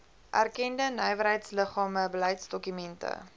erkende nywerheidsliggame beleidsdokumente